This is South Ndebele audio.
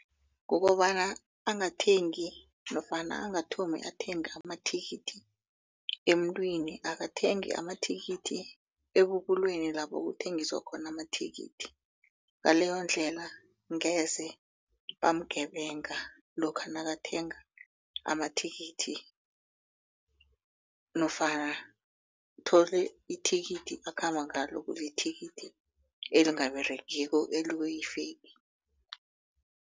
Kukobana angathengi nofana angathomi athenga amathikithi emntwini akathenge amathikithi ebubulweni lapho kuthengiswa khona amathikithi ngaleyo ndlela ngeze bamgebanga lokha nakathenga amathikithi nofana uthole ithikithi akhamba ngalo kulithikithi elingaberegiko